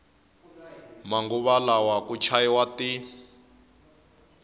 manguva lawa ku chayiwa ti